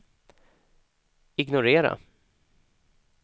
ignorera